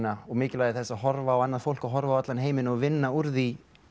og mikilvægi þess að horfa á annað fólk og horfa á allan heiminn og vinna úr því